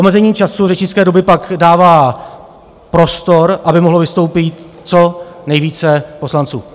Omezení času řečnické doby pak dává prostor, aby mohlo vystoupit co nejvíce poslanců.